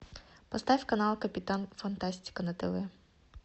поставь канал капитан фантастика на тв